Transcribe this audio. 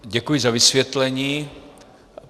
Děkuji za vysvětlení.